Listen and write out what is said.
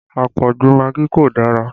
Àpọ̀jù magí kò dára